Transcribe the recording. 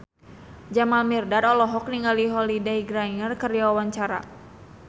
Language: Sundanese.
Jamal Mirdad olohok ningali Holliday Grainger keur diwawancara